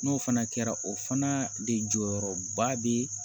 N'o fana kɛra o fana de jɔyɔrɔba bɛ